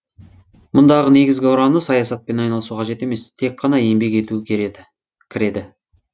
мұндағы негізгі ұраны саясатпен айналысу қажет емес тек қана еңбек ету кіреді